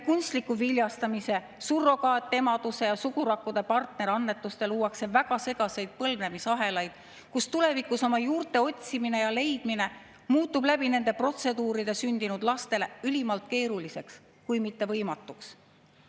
Kunstliku viljastamise, surrogaatemaduse ja sugurakkude partnerannetuste kaudu luuakse väga segaseid põlvnemisahelaid, nii et tulevikus muutub oma juurte otsimine ja leidmine nende protseduuride abil sündinud lastele ülimalt keeruliseks kui mitte võimatuks.